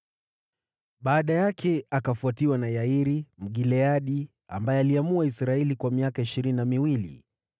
Baada yake akafuatiwa na Yairi, Mgileadi, ambaye aliamua Israeli kwa miaka ishirini na miwili.